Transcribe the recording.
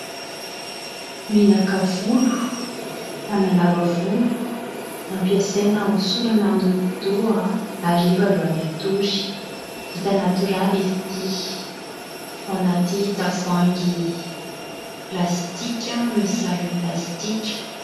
Menaka volo, manalava volo, ampiasaina hosorana amin'ny hodi-doha hariva aloha ny hatory. Vita natoraly izy ity ao anaty tavoahangy plastika misy sarony plastika.